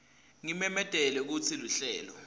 ngimemetele kutsi luhlelo